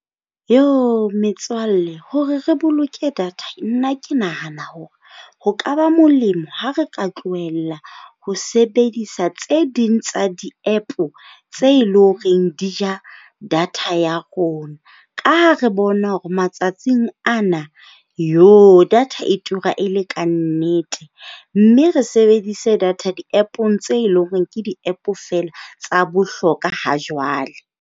Metswalle hore re boloke data, nna ke nahana hore ho ka ba molemo ha re ka tlohella ho sebedisa tse ding tsa di-App tse e leng hore di ja data ya rona. Ka ha re bona hore matsatsing ana data e tura e le ka nnete. Mme re sebedise data di-App-ong tse leng hore ke di-App fela tsa bohlokwa ha jwale.